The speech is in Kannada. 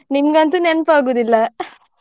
ನಿಮಗಂತು ನೆನ್ಪ್ ಆಗೋದಿಲ್ಲ.